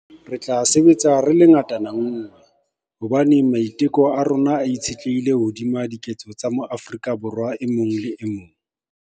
Re tla sebetsa re le ngatana nngwe, hobane maiteko a rona a itshetlehile hodima diketso tsa moAforika Borwa e mong le e mong.